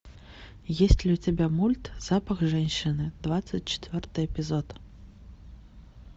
есть ли у тебя мульт запах женщины двадцать четвертый эпизод